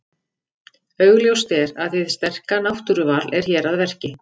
Augljóst er að hið sterka náttúruval er hér að verki.